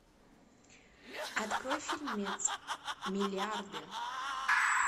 открой фильмец миллиарды